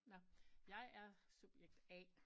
Nåh jeg er subjekt A